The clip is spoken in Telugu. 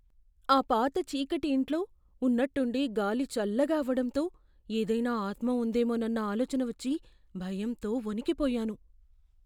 ఆ పాత చీకటి ఇంట్లో ఉన్నట్టుండి గాలి చల్లగా అవడంతో ఏదైనా ఆత్మ ఉందేమోనన్న ఆలోచన వచ్చి భయంతో వణికిపోయాను.